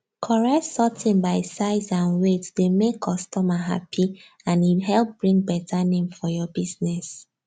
correct sorting by size and wieght dey make customer happy and e help bring better name for your business